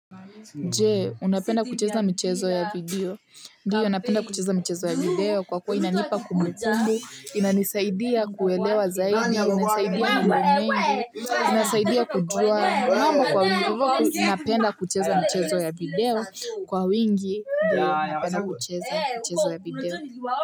Jee, unapenda kucheza mchezo ya video. Ndiyo, napenda kucheza mchezo ya video kwa kwa inanipa kumbukumbu inanisaidia kuelewa zaidi, inasaidia mambo mengi, inasaidia kujua. Mambo kwa wingovoa, napenda kucheza mchezo ya video. Kwa wingi, napenda kucheza mchezo ya video.